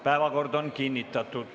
Päevakord on kinnitatud.